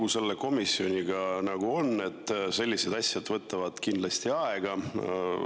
Olgu selle komisjoniga, nagu on, sellised asjad võtavad kindlasti aega.